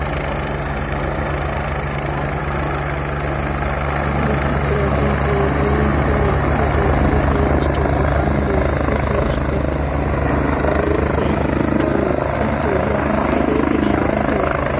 বিচিত্রবীর্যের দুই ছেলে ধৃতরাষ্ট্র ও পান্ডু ধৃতরাষ্ট্রের বয়সে বড় কিন্তু জন্ম থেকেই তিনি অন্ধ।